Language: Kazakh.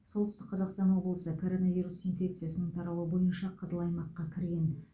солтүстік қазақстан облысы коронавирус инфекциясының таралуы бойынша қызыл аймаққа кірген